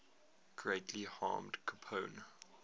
greatly harmed capone